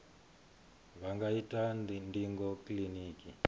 vha nga ita ndingo kiliniki